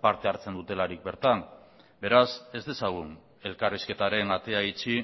parte hartzen dutelarik bertan beraz ez dezagun elkarrizketaren atea itxi